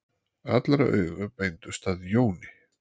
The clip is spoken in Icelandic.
Allra augu beindust að Jóni.